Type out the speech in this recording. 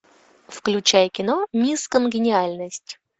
включай кино мисс конгениальность